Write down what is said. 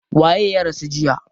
Waye ya rasu jiya?